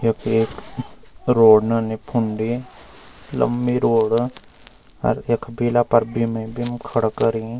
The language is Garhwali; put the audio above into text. यख एक रोड नन्नी फुंडी लम्बी रोड अर यख बेला फर बीम ही बीम खडू करीं।